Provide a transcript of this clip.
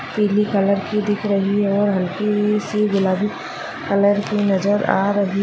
पीली कलर की दिख रही है और हल्की इ सी गुलाबी कलर की नजर आ रही --